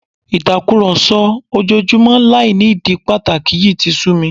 Ìtàkùrọ̀sọ ojoojúmọ́ láì ní ìdí pàtàkì yìí ti sú mi